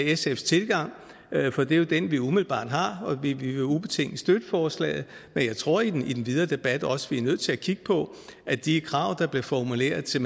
sfs tilgang for det er jo den vi umiddelbart har og vi vil ubetinget støtte forslaget at jeg tror vi i den videre debat også er nødt til at kigge på at de krav der blev formuleret til